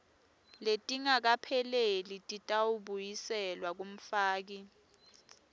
letingakapheleli titawubuyiselwa kumfaki